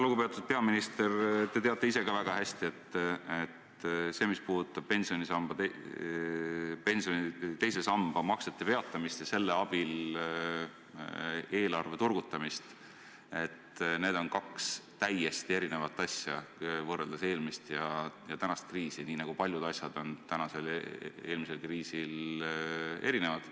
Lugupeetud peaminister, te teate ise ka väga hästi, et mis puudutab pensioni teise samba maksete peatamist ja selle abil eelarve turgutamist, siis need on kaks täiesti erinevat asja, kui võrrelda eelmist ja praegust kriisi, nii nagu paljud asjad on praeguse ja eelmise kriisi puhul erinevad.